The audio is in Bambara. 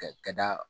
Ka ka da